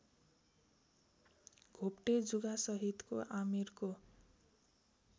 घोप्टे जुगासहितको आमिरको